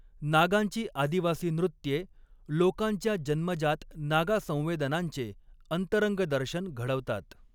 नागांची आदिवासी नृत्ये लोकांच्या जन्मजात नागा संवेदनांचे अंतरंगदर्शन घडवतात.